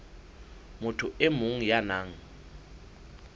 motho e mong ya nang